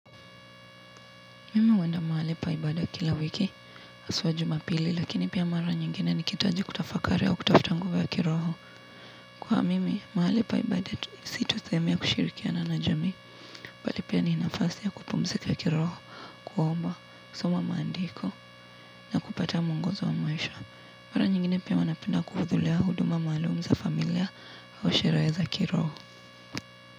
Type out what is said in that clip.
Mimi huenda mahali paibada kila wiki hasua jumapili lakini pia mara nyingine nikihitaji kutafakari au kutafuta nguvu ya kiroho. Kwa mimi mahali paibada situ sehemu ya kushirikia na jamii. Bali pia ni nafasi ya kupumzika ya kiroho. Kuomba kusoma mandiko na kupata muongozo wa maisha. Mara nyingine pia huwa napenda kuhudhulea huduma malumza familia au sherehe za kiroho.